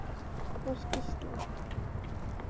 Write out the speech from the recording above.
Var skýrsla